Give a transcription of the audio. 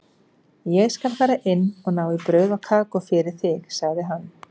Ég skal fara inn og ná í brauð og kakó fyrir þig, sagði hann.